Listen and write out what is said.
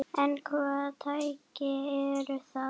En hvaða tæki eru það?